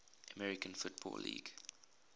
american football league